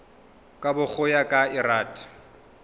kabo go ya ka lrad